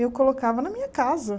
Eu colocava na minha casa.